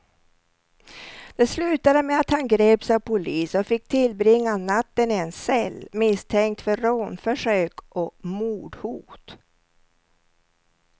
Det slutade med att han greps av polis och fick tillbringa natten i en cell, misstänkt för rånförsök och mordhot.